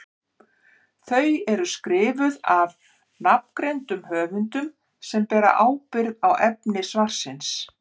Þau eru skrifuð af nafngreindum höfundum sem bera ábyrgð á efni svarsins.